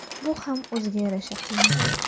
Bu ham o‘ziga yarasha qiyin.